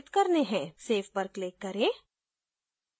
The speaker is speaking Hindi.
save पर click करें